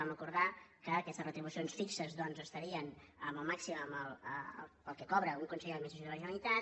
vam acordar que aquestes retribucions fixes estarien en el màxim en el que cobra un conseller de la generalitat